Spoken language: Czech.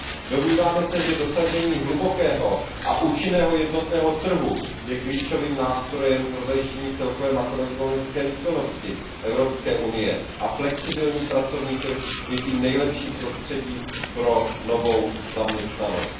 Domníváme se, že dosažení hlubokého a účinného jednotného trhu je klíčovým nástrojem pro zajištění celkové makroekonomické výkonnosti Evropské unie a flexibilní pracovní trh je tím nejlepším prostředím pro novou zaměstnanost.